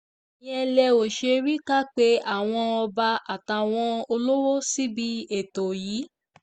ìyẹn lẹ ò ṣe rí i kà pé àwọn ọba àtàwọn olówó síbi ètò yìí